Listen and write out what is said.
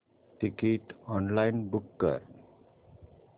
ticket online book कर